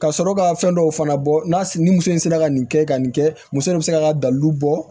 Ka sɔrɔ ka fɛn dɔw fana bɔ n'a ni muso in sera ka nin kɛ ka nin kɛ muso in bɛ se ka ka dalu bɔ